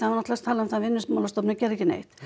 náttúrulega talað um það að Vinnumálastofnun gerði ekki neitt